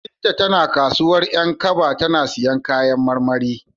Binta tana kasuwar 'Yankaba tana siyan kayan marmari.